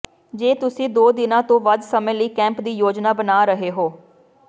ਜੇ ਤੁਸੀਂ ਦੋ ਦਿਨਾਂ ਤੋਂ ਵੱਧ ਸਮੇਂ ਲਈ ਕੈਂਪ ਦੀ ਯੋਜਨਾ ਬਣਾ ਰਹੇ ਹੋ